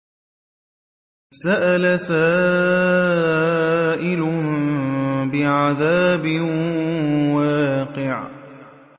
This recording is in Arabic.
سَأَلَ سَائِلٌ بِعَذَابٍ وَاقِعٍ